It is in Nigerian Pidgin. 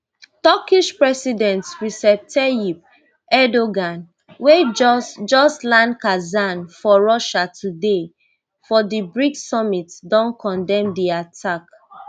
turkish president recep tayyip erdogan wey just just land kazan for russia today for di brics summit don condemn di attack